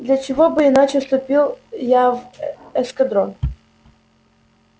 для чего бы иначе вступил я в эскадрон